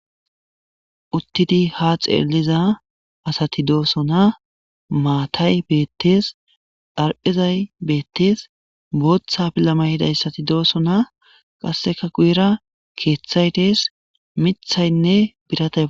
uttidi ha xeeliza asati dooso na maatay beettees dharqezay beettees booththa pillamay hidayssati dooso na qasseka guyira keeththay dees mithaynne birata